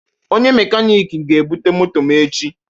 Onye mechanic ga-ebute moto m echi